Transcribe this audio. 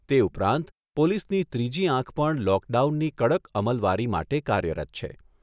તે ઉપરાંત પોલીસની ત્રીજી આંખ પણ લોકડાઉનની કડક અમલવારી માટે કાર્યરત છે.